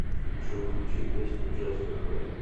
джой включи песню джаст э френд